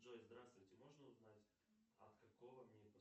джой здравствуйте можно узнать от какого мне